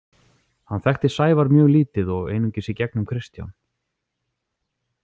Hann þekkti Sævar mjög lítið og einungis í gegnum Kristján.